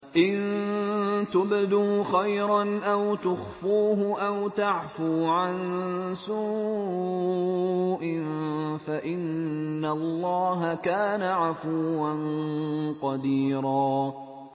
إِن تُبْدُوا خَيْرًا أَوْ تُخْفُوهُ أَوْ تَعْفُوا عَن سُوءٍ فَإِنَّ اللَّهَ كَانَ عَفُوًّا قَدِيرًا